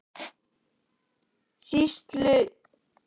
Sýsluskrifararnir voru Björn Sveinsson, Jón Runólfsson og ég.